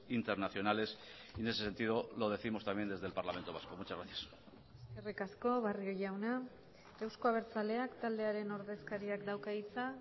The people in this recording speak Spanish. internacionales y en ese sentido lo décimos también desde el parlamento vasco muchas gracias eskerrik asko barrio jauna euzko abertzaleak taldearen ordezkariak dauka hitza